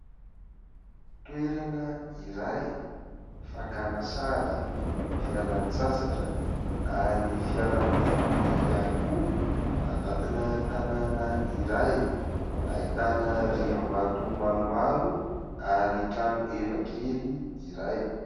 Toerana iray fakana sary, fialan-tsasatra ary fialana voly ihany koa. Anatina tanàna iray, ahitana riam-bato maromaro ary trano heva kely iray.